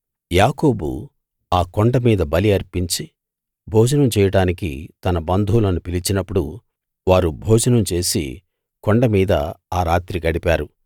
యాకోబు ఆ కొండ మీద బలి అర్పించి భోజనం చేయడానికి తన బంధువులను పిలిచినప్పుడు వారు భోజనం చేసి కొండ మీద ఆ రాత్రి గడిపారు